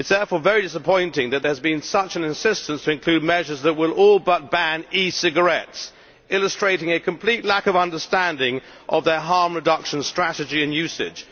It is therefore very disappointing that there has been such an insistence to include measures that will all but ban e cigarettes, illustrating a complete lack of understanding of their harm reduction strategy and usage.